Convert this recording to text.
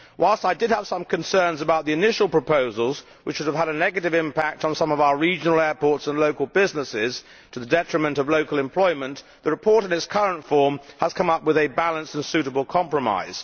Whilst I did have some concerns about the initial proposals, which would have had a negative impact on some of our regional airports and local businesses to the detriment of local employment, the report in its current form has come up with a balanced and suitable compromise.